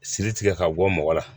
Siri tigɛ ka bɔ mɔgɔ la